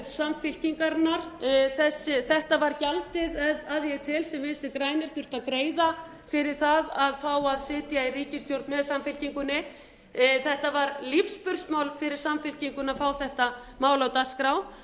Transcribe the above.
samfylkingarinnar þetta var gjaldið að ég tel sem vinstri grænir þurftu að greiða fyrir það að fá að sitja í ríkisstjórn með samfylkingunni það var lífsspursmál fyrir samfylkinguna að fá þetta mál á dagskrá